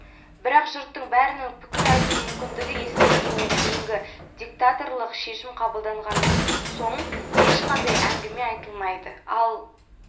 бірақ жұрттың бәрінің пікір айту мүмкіндігі ескерілгеннен кейінгі диктаторлық шешім қабылданған соң ешқандай әңгіме айтылмайды ал